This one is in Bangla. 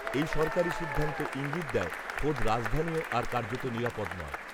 এই সরকারি সিদ্ধান্ত ঈঙ্গিত দেয়, খোদ রাজধানীও আর কার্যত নিরাপদ নয়